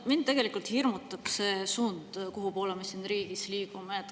No mind tegelikult hirmutab see suund, kuhu me siin riigis liigume.